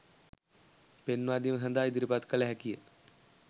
පෙන්වාදීම සඳහා ඉදිරිපත් කළ හැකිය